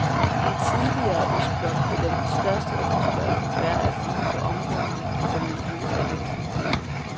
I den tidligere østblok vil den største efterspørgsel være at finde på områderne for miljø og energi. punktum